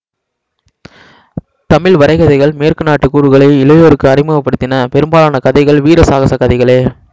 தமிழ் வரைகதைகள் மேற்குநாட்டு கூறுகளை இளையோருக்கு அறிமுகப்படுத்தின பெரும்பாலன கதைகள் வீர சகாச கதைகளே